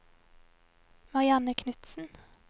Marianne Knudsen